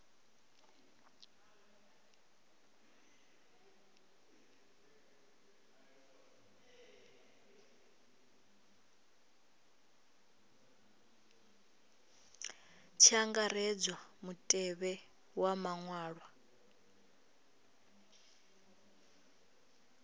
tshi angaredzwa mutevhe wa maṅwalwa